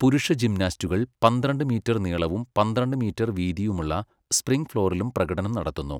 പുരുഷ ജിംനാസ്റ്റുകൾ പന്ത്രണ്ട് മീറ്റർ നീളവും പന്ത്രണ്ട് മീറ്റർ വീതിയുമുള്ള സ്പ്രിംഗ് ഫ്ലോറിലും പ്രകടനം നടത്തുന്നു.